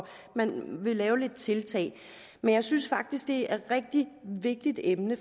at man vil lave lidt tiltag jeg synes faktisk at det er et rigtig vigtigt emne